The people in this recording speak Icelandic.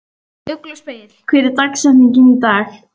Ugluspegill, hver er dagsetningin í dag?